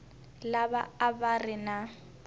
lava a va ri na